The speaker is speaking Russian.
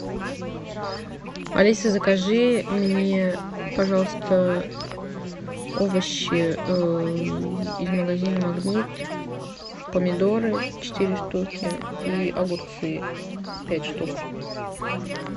алиса закажи мне пожалуйста овощи из магазина магнит помидоры четыре штуки и огурцы пять штук